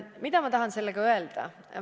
Mida ma tahan sellega öelda?